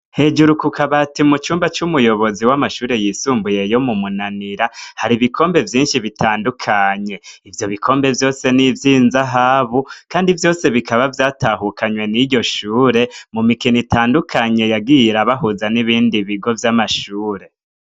Hejuru kukabati mu cumba c'umuyobozi w'amashure yisumbuyeyo mu munanira hari ibikombe vyinshi bitandukanye ivyo bikombe vyose n'ivyo inzahabu, kandi vyose bikaba vyatahukanywe n'iryo shure mu mikino itandukanye yagiye irabahuza n'ibindi bigo vy'amashure.